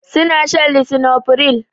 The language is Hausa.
Su na shan lisinopril